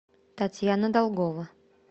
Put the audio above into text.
татьяна долгова